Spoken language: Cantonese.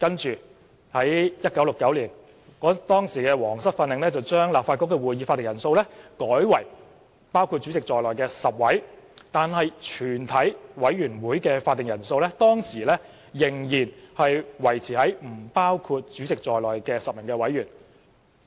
其後 ，1969 年的《皇室訓令》將立法局的會議法定人數改為包括主席在內的10位議員，但全委會的會議法定人數仍維持於不包括主席在內的10位委員。